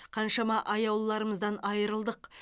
қаншама аяулыларымыздан айырылдық